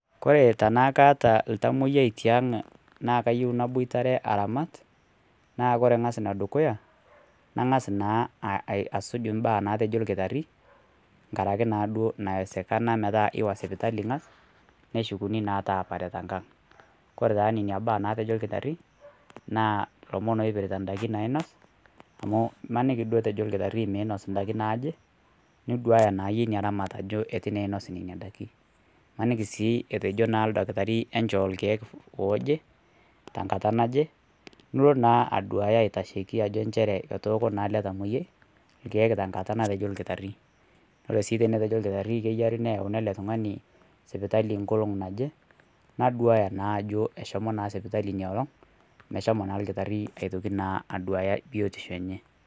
Kore tana kaata ltamoyia te nkaang naa kaiyeu nabotiare aramaat, naa kore ang'aas naa ne dukuya naang'as naa asuuj baa natejoo lkitaari ng'araki na doo naiwesekana metaa iwaa sipitali ang'aas neeshukuni naa taapare te nkaaang. Kore taa nenia baa natejoo lkitaari naa lomoon loipirita ndaaki nainoos. Amu maaniki doo ejoo lkitaari meinoso ndaaki naaje niduaya naa enye enya ramaat ajoo atuu naa einoos enia ndaaki. Maaniki sii ejoo naa lkitaari enchoo olkiek ojii ajee ta nkaata naje. Nuloo naa aduaya aitasheki ajo ncheere atooko naa ele ltamoyia lkiek te nkaata natejoo lkitaari . Kore sii tenejoo lkitaari eyaari neyauni ele ltung'ani sipitali nkolong' naje naduaya naa ajoo eshomoo naa sipitali enia olong' meshomoo lkitaari atokii naa aduaya biotisho enye.